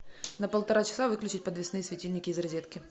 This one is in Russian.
на полтора часа выключить подвесные светильники из розетки